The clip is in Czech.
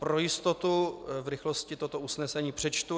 Pro jistotu v rychlosti toto usnesení přečtu.